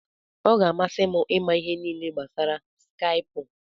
Ọ ga-amasị m ịma ihe niile gbasara Skaipụ.